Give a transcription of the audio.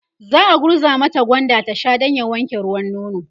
za'a gurza mata gwanda ta Sha Dan ya wanke ruwan nono